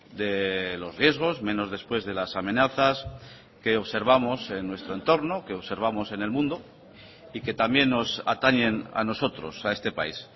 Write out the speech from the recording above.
de los riesgos menos después de las amenazas que observamos en nuestro entorno que observamos en el mundo y que también nos atañen a nosotros a este país